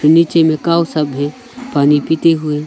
नीचे में काऊ सब है पानी पीते हुए।